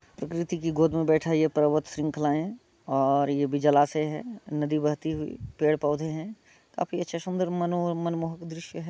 प्रकृति की गोद में बैठा है ये पर्वत श्रृंखलाएं और ये भी जलाशय है नदी बहती हुई पेड़-पौधे है काफी अच्छा सुन्दर मनोह मनमोहक दृश्य है।